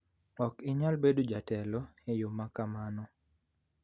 Ok inyal bedo jatelo e yo ma kamano.